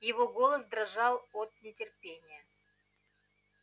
его голос дрожал от нетерпения